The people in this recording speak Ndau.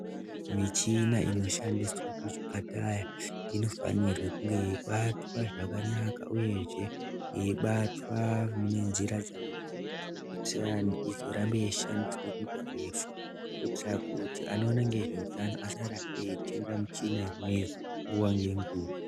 Michina inoshandiswe kuzvipataya inofanirwe kunge yeibatwa zvakanaka. Uyezve yeibatwa mune nzira dzakanaka, kuitirani izorambe yeishandiswa kwenguva refu. Kuitira kuti anoona ngezveutano asarambe eitenga muchina imweyo nguva ngenguva.